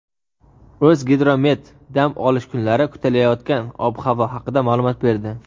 O‘zgidromet dam olish kunlari kutilayotgan ob-havo haqida ma’lumot berdi.